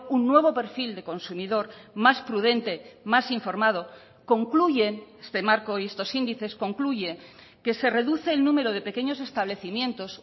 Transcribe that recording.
un nuevo perfil de consumidor más prudente más informado concluyen este marco y estos índices concluye que se reduce el número de pequeños establecimientos